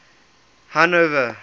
hanover